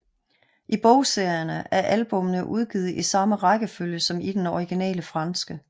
I bogserierne er albummene udgivet i samme rækkefølge som i den originale franske